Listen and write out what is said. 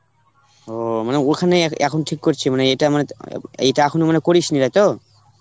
অঃ মানে ওখানে এক~ এখন ঠিক করছি মানে এটা মানে তো এইটা এখন মানে করিস নি তাই তো?